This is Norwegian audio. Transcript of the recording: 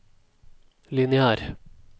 lineær